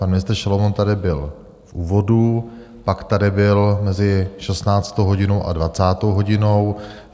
Pan ministr Šalomoun tady byl v úvodu, pak tady byl mezi 16. hodinou a 20. hodinou.